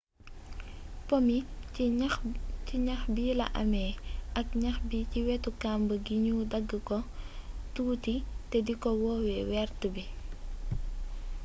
po mi ci ñax bi la amé ak ñax bi ci wétu kamb gi ñu dagg ko tuuti té diko woowé wéert bi